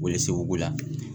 O ye seguko la